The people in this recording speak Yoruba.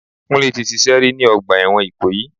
Kúnlé tí ṣíṣe rí ni ọgbà ẹ̀wọ̀n ikoyi.